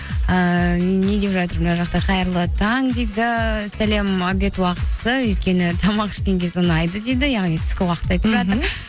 ііі не деп жатыр мына жақта қайырлы таң дейді сәлем обед уақытысы өйткені тамақ ішкен кез ұнайды дейді яғни түскі уақытты